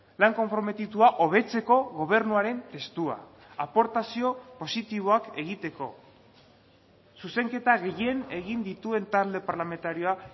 lan konprometitua hobetzeko gobernuaren testua aportazio positiboak egiteko zuzenketa gehien egin dituen talde parlamentarioa